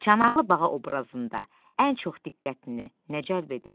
Çanaqlı bağa obrazında ən çox diqqətini nə cəlb edir?